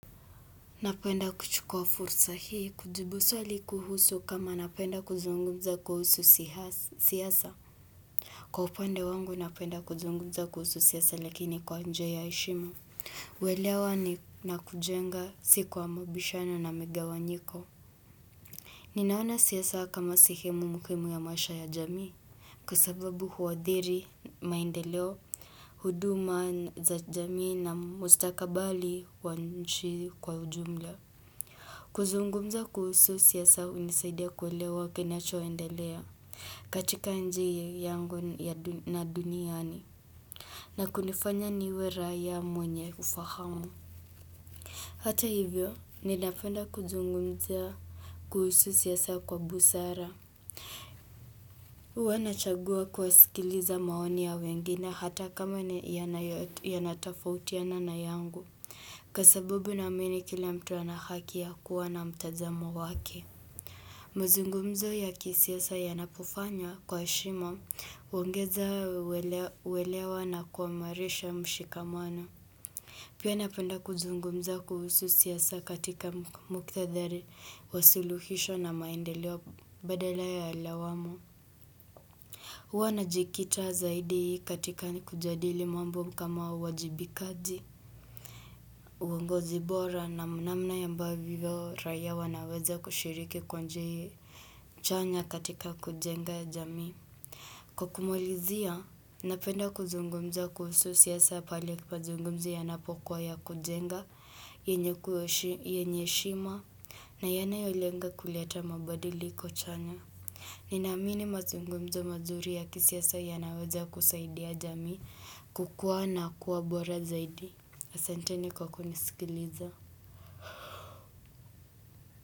Napenda kuchukua fursa hii kujibu swali kuhusu kama napenda kuzungumza kuhusu siasa. Kwa upande wangu napenda kuzungumza kuhusu siasa lakini kwa njia ya heshima kuelewa na kujenga si kwa mabishano na mgawanyiko. Ninaona siasa kama sehemu muhimu ya maisha ya jamii. Kwa sababu huadhiri maendeleo, huduma za jamii na mustakabali wa nchi kwa ujumla. Kuzungumza kuhusu siasa hunisaidia kuelewa kinachoendelea katika nji yangu na duniani na kunifanya niwe raya mwenye ufahamu. Hata hivyo ninapenda kuzungumza kuhusu sisa kwa busara. Huwa nachagua kuwasikiliza maoni ya wengine hata kama yanatafautiana na yangu kwa sabubu naamini kila mtu ana haki ya kuwa na mtazamo wake. Mazungumzo ya kisiasa yanapofanywa kwa heshima huongeza kuelewa na kuwamarisha mshikamana Pia napenda kuzungumza kuhusu siasa katika mukithadhari wa suluhisho na maendelewa badala ya lawamo huwa najikita zaidi katika kujadili mambo kama uwajibikaji uongozi bora na namna ambavyo raya wanaweza kushiriki kwa nji chanya katika kujenga jamii. Kwa kumalizia, napenda kuzungumza kuhusu siasa pali ya kipazungumza yanapokuwa ya kujenga, yenye heshima, na yanayolenga kuleta mabadilo chanya. Ninaamini mazungumza mazuri ya kisiasa yanaweza kusaidia jamii kukua na kuwa bora zaidi. Asante ni kwa kunisikiliza.